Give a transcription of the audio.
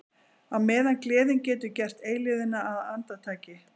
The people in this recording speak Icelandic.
Á meðan gleðin getur gert eilífðina að andartaki.